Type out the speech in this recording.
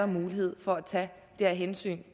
mulighed for at tage det her hensyn